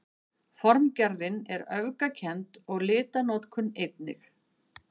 Formgerðin er öfgakennd og litanotkun einnig.